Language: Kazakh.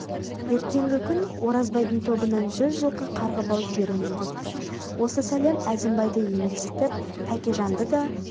ертеңгі күн оразбайдың тобынан жүз жылқы қарғы бау жіберемін депті осы сәлем әзімбайды емексітіп тәкежанды да